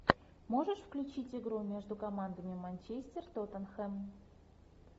можешь включить игру между командами манчестер тоттенхэм